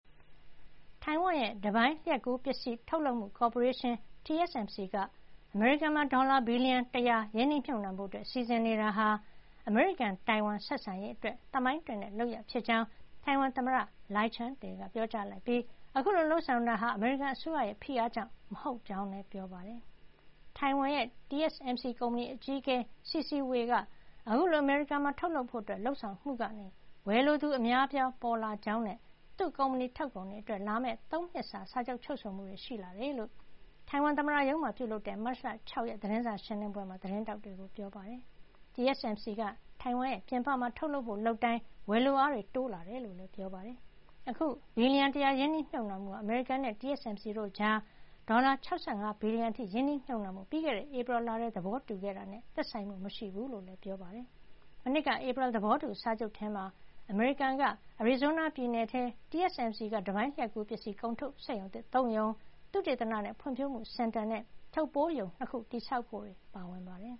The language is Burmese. တိုင်ဝမ်ရဲ့ တပိုင်းလျှပ်ကူးပစ္စည်း ထုတ်လုပ်မှု ကော်ပိုရေးရှင်း TSMC က အမေရိကန်မှာ ဒေါ်လာ ဘီလီယံ ၁၀၀ ရင်းနှီးမြှုပ်နှံဖို့ စီစဉ်နေတာဟာ အမေရိကန်- တိုင်ဝမ်ဆက်ဆံရေး အတွက် သမိုင်းတွင်တဲ့ လုပ်ရပ်ဖြစ်ကြောင်း တိုင်ဝမ်သမ္မတ Lai Ching-te က ပြောကြားလိုက်ပြီး အခုလို လုပ်ဆောင်တာဟာ အမေရိကန်အစိုးရ ရဲ့ ဖိအားကြောင့် မဟုတ်ကြောင်းလည်း ပြောပါတယ်။ တိုင်ဝမ် TSMC ကုမ္ပဏီ အကြီးအကဲ C.C. Wei က အခုလို အမေရိကန်မှာ ထုတ်လုပ်ဖို့ လုပ်ဆောင်မှုကနေ ဝယ်လိုသူ အများအပြားပေါ်လာ ကြောင်းနဲ့ သူ့ကုမ္ပဏီထုတ်ကုန်တွေ အတွက် လာမယ့် ၃ နှစ်စာ စာချုပ် ချုပ်ဆိုမှုတွေ ရှိလာတယ်လို့ သမ္မတရုံးမှာပြုလုပ်တဲ့ မတ်လ ၆ ရက် သတင်းစာရှင်းလင်းပွဲမှာ သတင်းထောက်တွေကို ပြောပါတယ်။ TSMC က တိုင်ဝမ်ပြင်ပမှာ ထုတ်လုပ်ဖို့ လုပ်တိုင်း ဝယ်လိုအား တိုးလာတယ်လို့လည်း ပြောပါတယ်။ အခု ဘီလီယံ ၁၀၀ ရင်းနှီးမြှုပ်နှံမှုဟာ အမေရိကန်နဲ့ TSMC တို့ကြား ဒေါ်လာ ၆၅ ဘီလီယံအထိ ရင်းနှီးမြှုပ်နှံဖို့ ပြီးခဲ့တဲ့ ဧပြီလထဲ သဘောတူထားခဲ့တာနဲ့ သက်ဆိုင်မှုမရှိကြောင်းလည်း ပြောပါတယ်။ မနှစ်က ဧပြီလ သဘောတူစာချုပ် ထဲမှာ အမေရိကန် အရီဇိုးနား ပြည်နယ်ထဲ TSCM က တပိုင်းလျှပ်ကူး ပစ္စည်း ထုတ်စက်ရုံသစ် ၃ ရုံ ၊ သုတေသနနဲ့ ဖွံ့ဖြိုးမှု စင်တာ နဲ့ ထုပ်ပိုးရုံ ၂ ခု တည်ဆောက်ဖို့တွေ ပါဝင်ပါတယ်